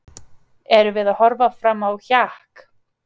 Erum við að horfa fram á hjakk?